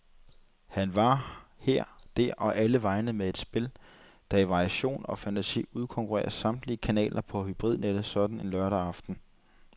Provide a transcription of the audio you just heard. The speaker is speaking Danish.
Han var her, der og allevegne med et spil, der i variation og fantasi udkonkurrerede samtlige kanaler på hybridnettet sådan en lørdag aften.